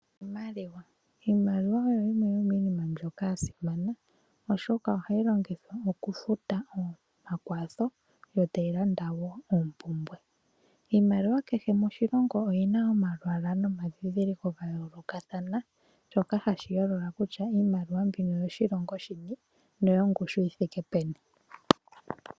Iimaliwa oyo yimwe yominima mboka yasimana .Oshoka ohayi longithwa mopumbwe dha kehe esiku ngaashi okulanda iikulya nosho tuu. Kehe oshilongo yina omalwaala nomadhidhiliko yadho gayolokathana mboka hayi yolola kutya iimaliwa mbino oyo moshilongo shini noyo ngushu yithike peni .